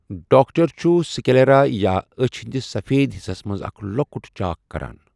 Doctor چھُ sclera یا أچھ ہنٛدِس سفید حصس منٛز اکھ لۄکُت چاکھ کران۔